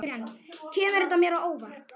Kemur þetta mér á óvart?